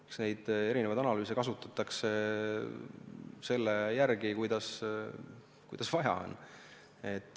Eks neid erinevaid analüüse kasutatakse selle järgi, kuidas vaja on.